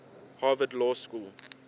harvard law school